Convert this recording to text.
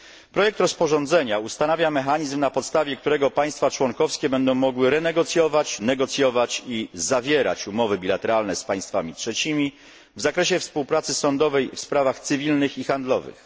Projekt rozporządzenia ustanawia mechanizm, na podstawie którego państwa członkowskie będą mogły renegocjować, negocjować i zawierać umowy bilateralne z państwami trzecimi w zakresie współpracy sądowej w sprawach cywilnych i handlowych.